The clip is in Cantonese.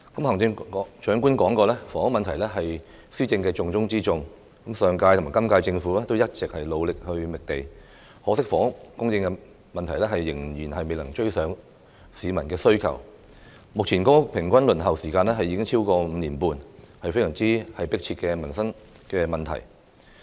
行政長官說過，房屋問題是施政的重中之重，上屆和今屆政府一直努力覓地，可惜房屋供應仍未能追上市民的需求，目前公屋平均輪候時間已經超過5年半，是非常迫切的民生問題。